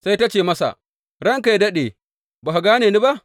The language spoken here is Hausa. Sai ta ce masa, Ranka yă daɗe, ba ka gane ni ba?